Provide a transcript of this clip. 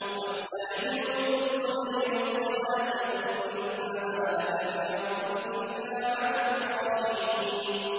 وَاسْتَعِينُوا بِالصَّبْرِ وَالصَّلَاةِ ۚ وَإِنَّهَا لَكَبِيرَةٌ إِلَّا عَلَى الْخَاشِعِينَ